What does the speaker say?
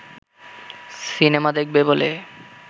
cinema দেখবে বলে